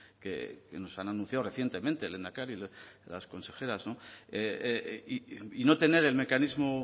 que nos han anunciado recientemente el lehendakari las consejeras y no tener el mecanismo